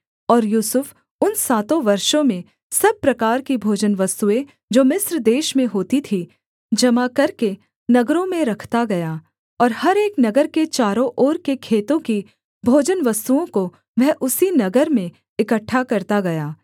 और यूसुफ उन सातों वर्षों में सब प्रकार की भोजनवस्तुएँ जो मिस्र देश में होती थीं जमा करके नगरों में रखता गया और हर एक नगर के चारों ओर के खेतों की भोजनवस्तुओं को वह उसी नगर में इकट्ठा करता गया